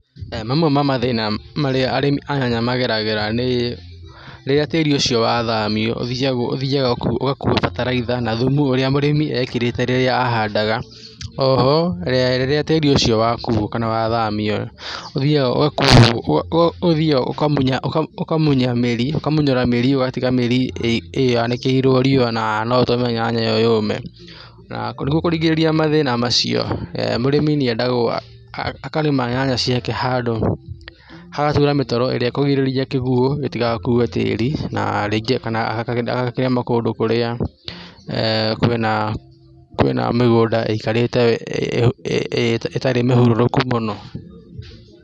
Mamwe ma mathĩna marĩa arĩmi a nyanya mageragĩra nĩ rĩrĩa tĩri ũcio wathamio, ũthiaga ũgakua bataraitha na thumu ũrĩa mũrĩmi ekĩrĩte rĩrĩa ahandaga. O ho, rĩrĩa tĩrĩ ũcio wakuo kana wathamio, ũthiaga ũthiaga ũkamunya mĩri, ũkamunyora mĩri, ũgatiga mĩri yanĩkĩirwo riũa na no ũtũme nyanya iyó yũme, na nĩguo kũgirĩrĩria mathina macio, mũrĩmi nĩendagwo akarĩma nyanya ciake handũ, hagaturwo mĩtaro irĩa ĩkũgirĩrĩrio kĩguo gĩtigakue tĩri, na rĩngĩ kana agakĩrĩma kũndũ kũrĩa kwĩna mĩgũnda ĩikarĩte ĩtarĩ mĩhurũrũku mũno.